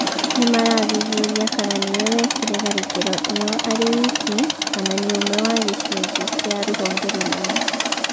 Nĩ marathuthuria kana nĩ we wekire tharĩkĩro ĩyo arĩ wiki kana nĩ umwe wa gĩcunjĩ kĩa rũhonge rũnene.